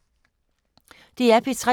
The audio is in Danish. DR P3